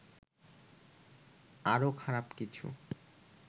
আরো খারাপ কিছু